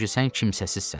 Çünki sən kimsəsizsən.